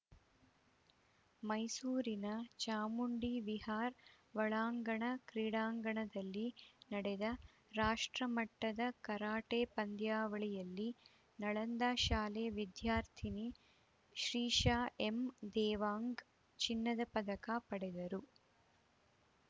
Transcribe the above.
ಮೈಸೂರಿನ ಚಾಮುಂಡಿ ವಿಹಾರ್‌ ಒಳಾಂಗಣ ಕ್ರೀಡಾಂಗಣದಲ್ಲಿ ನಡೆದ ರಾಷ್ಟ್ರಮಟ್ಟದ ಕರಾಟೆ ಪಂದ್ಯಾವಳಿಯಲ್ಲಿ ನಳಂದ ಶಾಲೆ ವಿದ್ಯಾರ್ಥಿನಿ ಶ್ರೀಶಾ ಎಂ ದೇವಾಂಗ್‌ ಚಿನ್ನದ ಪದಕ ಪಡೆದರು